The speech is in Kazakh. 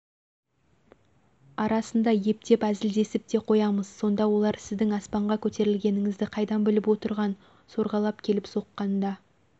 арасында ептеп әзілдесіп те қоямыз сонда олар сіздің аспанға көтерілгеніңізді қайдан біліп отырған сорғалап келіп соққанда